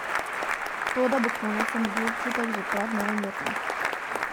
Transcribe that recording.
To, da bo konec, sem dobil občutek že pred novim letom.